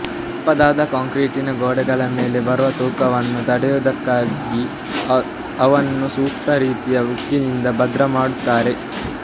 ದಪ್ಪವಾದ ಕಾಂಕ್ರೀಟನ ಗೋಡೆಗಳ ಮೇಲೆ ಬರುವ ತೂಕವನ್ನು ತಡೆಯುವುಕ್ಕಾಗಿ ಅವನ್ನು ಸೂಕ್ತ ರೀತಿಯಲ್ಲಿ ಉಕ್ಕಿನಿಂದ ಭದ್ರಮಾಡುತ್ತಾರೆ